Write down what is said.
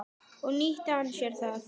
Og nýtti hann sér það.